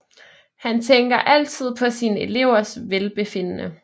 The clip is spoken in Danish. Han tænker altid på sine elevers velbefindende